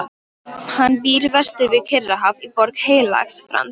Hann býr vestur við Kyrrahaf í Borg Heilags Frans.